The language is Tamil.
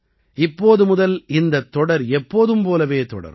இப்போது முதல் இந்தத் தொடர் எப்போதும் போலவே தொடரும்